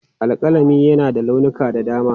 Alƙalami na da launuka da dama.